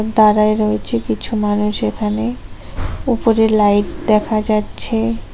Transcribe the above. দাড়ায় রয়েছে কিছু মানুষ এখানে ওপরে লাইট দেখা যাচ্ছে।